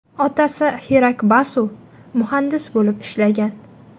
Otasi Xirak Basu muhandis bo‘lib ishlagan.